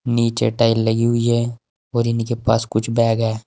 नीचे टाइल लगी हुई है और इन्हीं के पास कुछ बैग है।